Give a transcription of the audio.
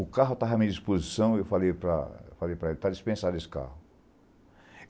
O carro estava à minha disposição e eu falei para eu falei para ele, está dispensado esse carro.